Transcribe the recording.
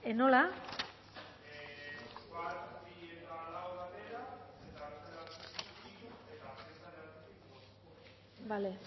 nola vale